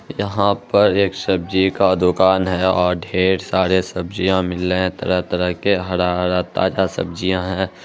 यहाँ पर एक सब्जी का दुकान है और ढेर सारे सब्जिया मिले तरह-तरह के हरा-हरा ताजा सब्जिया है।